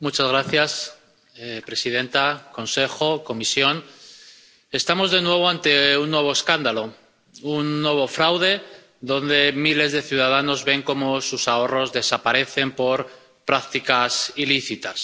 Señora presidenta, Consejo, Comisión, estamos de nuevo ante un nuevo escándalo, un nuevo fraude, en el que miles de ciudadanos ven cómo sus ahorros desaparecen por prácticas ilícitas.